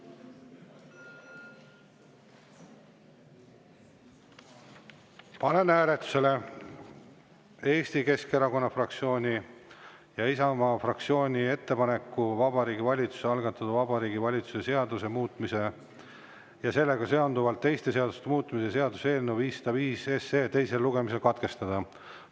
Panen hääletusele Eesti Keskerakonna fraktsiooni ja Isamaa fraktsiooni ettepaneku Vabariigi Valitsuse algatatud Vabariigi Valitsuse seaduse muutmise ja sellega seonduvalt teiste seaduste muutmise seaduse eelnõu 505 teine lugemine katkestada.